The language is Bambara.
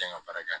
ka baara kɛ